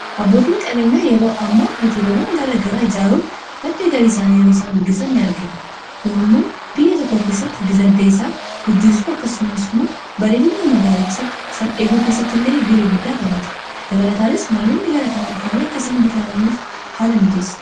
Abbootiin qabeenyaa yeroo amma hooteelawwan garaa garaa ijaaruun maddaa galii isaanii yero isaan guddisan ni argina kun immoo biyya tokko keessatti dinagdee guddisuu akkasumas immoo baredinna magaalicha san eeguu keessatti illee ga'ee guddaa taphata dabalataanis namoonni gara kanaan dhufaanii akkasaan bashananiif haala mijeessa.